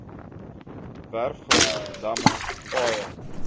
werfgrond damme paaie